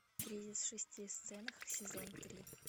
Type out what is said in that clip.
кризис в шести сценах сезон три